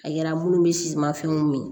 A yira minnu bɛ siman finiw min